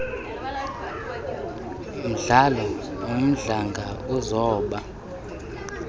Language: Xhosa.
mdlalo umdlanga uzoba